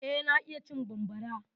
Eh, na iya cin bambara.